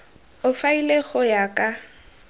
o faele go ya ka